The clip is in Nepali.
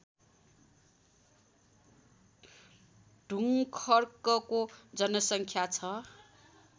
ढुङ्खर्कको जनसङ्ख्या छ